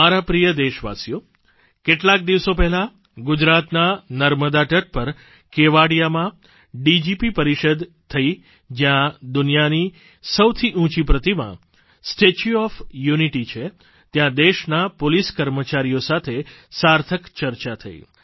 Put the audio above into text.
મારા પ્રિય દેશવાસીઓ કેટલાક દિવસો પહેલાં ગુજરાતના નર્મદા તટ પર કેવડિયામાં ડીજીપી પરિષદ થઇ જ્યાં દુનિયાની સૌથી ઊંચી પ્રતિમા સ્ટેચ્યુ ઓએફ યુનિટી છે ત્યાં દેશના પોલીસ કર્મચારીઓ સાથે સાર્થક ચર્ચા થઇ